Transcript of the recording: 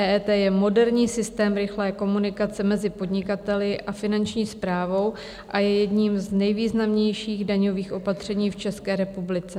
EET je moderní systém rychlé komunikace mezi podnikateli a Finanční správou a je jedním z nejvýznamnějších daňových opatření v České republice.